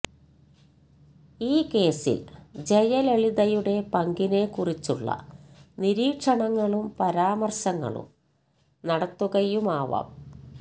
ഈ കേസിൽ ജയലളിതയുടെ പങ്കിനെ കുറിച്ചുള്ള നിരീക്ഷണങ്ങളും പരമാർശങ്ങളും നടത്തുകയുമാവാം